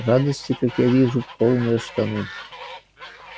радости как я вижу полные штаны